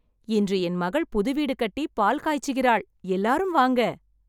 இன்று என் மகள் புது வீடு கட்டி பால் காய்ச்சுகிறாள். எல்லாரும் வாங்க.